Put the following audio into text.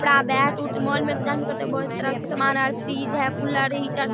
कपड़ा बैट उट मोल में तो जानवे करते हैं बहुत तरह के सामान है फ्रिज है कूलर है हीटर --